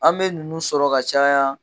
An me nunnu sɔrɔ ka caya